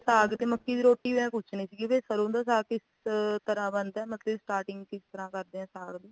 ਸਰੋ ਦਾ ਸਾਗ ਤੇ ਮੱਕੀ ਦੀ ਰੋਟੀ ਦਾ ਪੁੱਛਣਾ ਸੀਗਾ ਵੀ ਸਰੋਂ ਦਾ ਸਾਗ ਕਿਸ ਤਰਾਂ ਬਣਦਾ ਮਤਲੱਬ starting ਕਿਸ ਤਰ੍ਹਾਂ ਕਰਦੇ ਆ ਸਾਗ ਦੀ